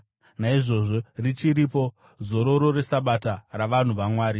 Naizvozvo richiripo, zororo reSabata ravanhu vaMwari;